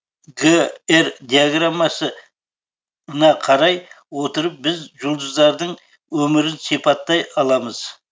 г р диаграммасы на қарай отырып біз жұлдыздардың өмірін сипаттай аламыз